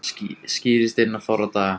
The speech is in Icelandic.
Skýrist innan fárra daga